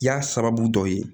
I y'a sababu dɔ ye